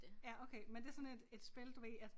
Ja okay men det sådan et et spil du ved at